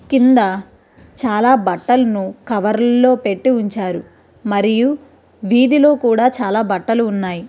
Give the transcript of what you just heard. కింద చాలా బట్టలను కవర్ లో పెట్టి ఉంచారు మరియు వీధిలో కూడా చాల బట్టలు ఉన్నాయి.